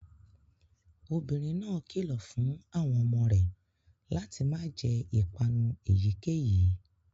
Obinrin náà kilọ fun awọn ọmọ rẹ lati ma jẹ ipanu eyikeyi